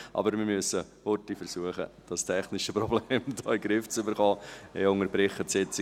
Aber wir müssen rasch versuchen, dieses technische Problem in den Griff zu bekommen.